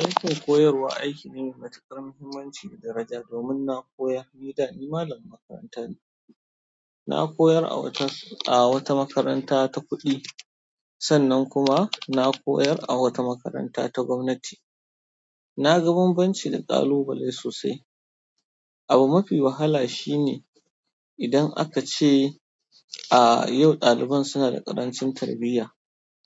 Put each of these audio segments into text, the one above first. Aikin koyarwa aiki ne mai matukar muhimmanci da daraja domin na koyar, ni da ni malamin makaranta ne. Na koyar a wata a wata makaranta ta kuɗi, sannan kuma na koyar a wata makaranta ta gwamnati. Na ga bambanci da ƙalubale sosai. Abu mafi wahala shi ne idan aka ce, "A yau ɗaliban suna da ƙarancin tarbiyya."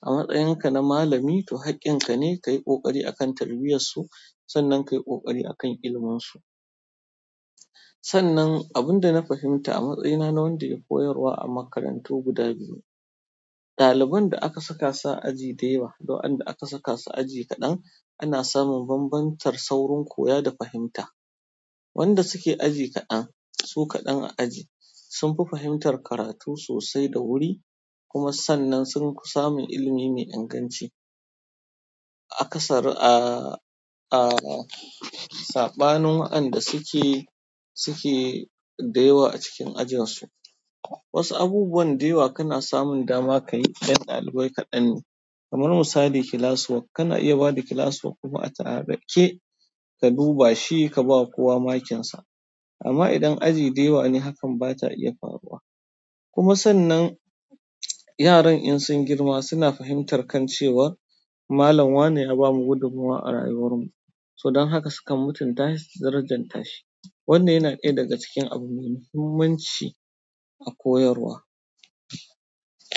A matsayinka na malami, to hakkinka ne ka yi ƙoƙari akan tarbiyyar su, sannan ka yi ƙoƙari akan ilimun su. Sannan abinda na fahimta a matsayina na wanda yai koyarwa a makarantu guda biyu daliban da aka saka su a aji dayawa da waanda aka saka su a aji kaɗan ana samun bambancin saurin koya da fahimta wanda suke aji kaɗan, su kaɗan a aji sun fi fahimtar karatu sosai da wuri kuma sannan sun fi samun ilimi mai inganci akasari a saɓanin waɗanda suke da yawa a cikin ajinsu. Wasu abubuwan da yawa kana samun dama ka yi idan ɗalibai kaɗan ne. Kamar misali, class work. Kana iya ba da class work kuma a tsanake, ka duba shi ka ba kowa makinsa. Amma idan aji da yawa ne, hakan ba ta iya faruwa. Kuma sannan yaran in sun girma suna fahimtar kan cewa malan wane ya bamu gudunmawa a rayuwar mu, so don haka suka fi mutunta shi suka fi darajanta shi, wannan yana ɗaya daga cikin abu mai muhimmanci a koyarwa.